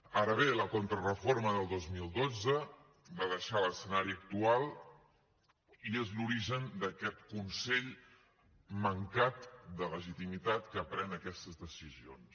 ara bé la contrareforma del dos mil dotze va deixar l’escenari actual i és l’origen d’aquest consell mancat de legitimitat que pren aquestes decisions